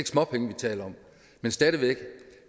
småpenge vi taler om men stadig væk